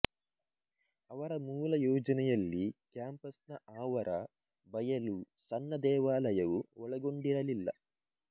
ಅವರ ಮೂಲ ಯೋಜನೆಯಲ್ಲಿ ಕ್ಯಾಂಪಸ್ಸ್ನ ಆವರ ಬಯಲು ಸಣ್ಣ ದೇವಾಲಯವು ಒಳಗೊಂಡಿರಲಿಲ್ಲ